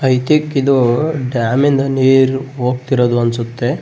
I think ಇದು ಡ್ಯಾಮಿನ ನೀರು ಹೋಗ್ತಿರುದು ಅನ್ಸುತ್ತೆ.